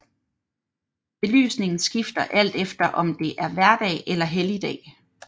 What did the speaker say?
Belysningen skifter alt efter om det er hverdag eller helligdag